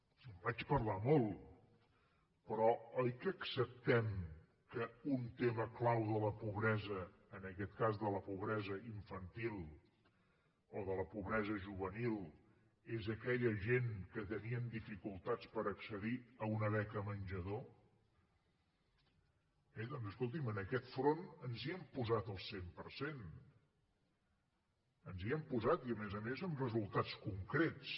en vaig parlar molt però oi que acceptem que un tema clau de la pobresa en aquest cas de la pobresa infantil o de la pobresa juvenil és aquella gent que tenien dificultats per accedir a una beca menjador bé doncs escolti’m en aquest front ens hi hem posat al cent per cent ens hi hem posat i a més a més amb resultats concrets